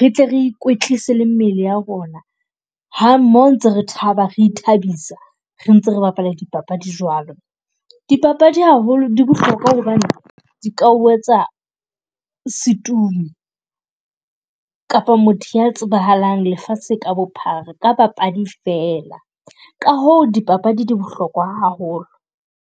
re tle re ikwetlise le mmele ya rona ha mmoho ntse re taba, re ithabisa re ntse re bapala dipapadi jwalo. Dipapadi haholo di bohlokwa hobane di ka ho etsa setumo, kapo motho ya tsebahalang lefatshe ka bophara ka papadi fela, ka hoo dipapadi di bohlokwa haholo.